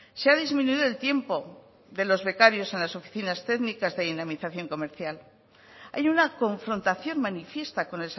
se ha disminuido el tiempo de los becarios en las oficinas técnicas de dinamización comercial hay una confrontación manifiesta con